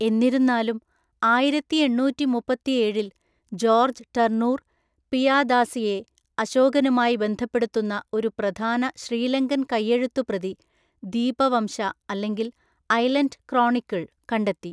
എന്നിരുന്നാലും, ആയിരത്തിയെണ്ണൂറ്റിമുപ്പത്തിയേഴില്‍ George Turnour, പിയാദാസിയെ അശോകനുമായി ബന്ധപ്പെടുത്തുന്ന ഒരു പ്രധാന ശ്രീലങ്കൻ കൈയെഴുത്തുപ്രതി (ദീപവംശ, അല്ലെങ്കിൽ 'ഐലൻഡ് ക്രോണിക്കിൾ') കണ്ടെത്തി.